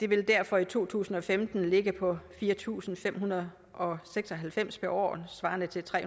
vil derfor i to tusind og femten ligge på fire tusind fem hundrede og seks og halvfems kroner per år svarende til tre